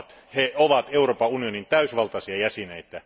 He ovat Euroopan unionin täysivaltaisia jäseniä.